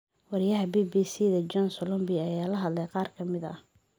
Weriyaha BBC-da John Solombi ayaa la hadlay qaar ka mid ah.